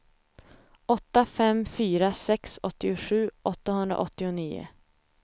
åtta fem fyra sex åttiosju åttahundraåttionio